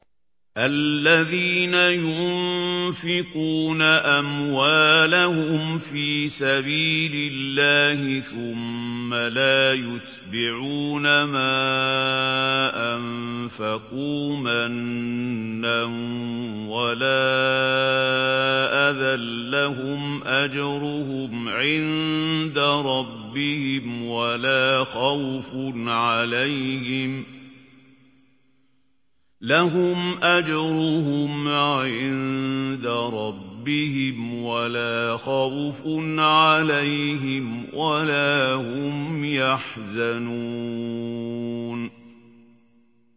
الَّذِينَ يُنفِقُونَ أَمْوَالَهُمْ فِي سَبِيلِ اللَّهِ ثُمَّ لَا يُتْبِعُونَ مَا أَنفَقُوا مَنًّا وَلَا أَذًى ۙ لَّهُمْ أَجْرُهُمْ عِندَ رَبِّهِمْ وَلَا خَوْفٌ عَلَيْهِمْ وَلَا هُمْ يَحْزَنُونَ